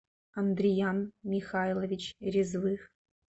андриян михайлович резвых